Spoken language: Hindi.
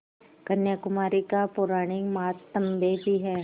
कन्याकुमारी का पौराणिक माहात्म्य भी है